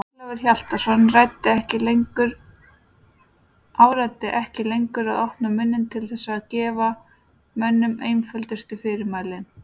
Ólafur Hjaltason áræddi ekki lengur að opna munninn til þess að gefa mönnum einföldustu fyrirmæli.